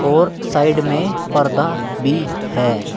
और साइड में पर्दा भी है।